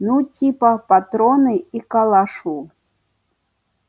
ну типа патроны и калашу